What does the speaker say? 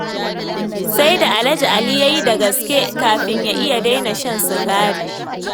Sai da Alhaji Ali ya yi da gaske kafin ya iya daina shan sigari.